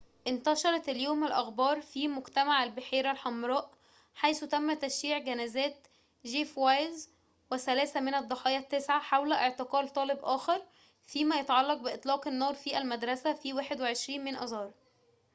انتشرت اليوم الأخبار في مجتمع البحيرة الحمراء حيث تم تشييع جنازات جيف وايز وثلاثة من الضحايا التسعة حول اعتقال طالب آخر فيما يتعلق بإطلاق النار في المدرسة في 21 من آذار